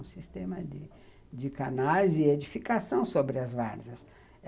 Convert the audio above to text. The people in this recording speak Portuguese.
Um sistema de de canais e edificação sobre as varzias.